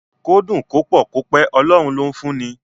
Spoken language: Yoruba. Kó dùn, kó pọ̀, kó pẹ́, Ọlọ́run ló ń fún ni.